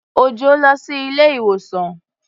Òjọ́ lọ sí ilé-ìwòsàn.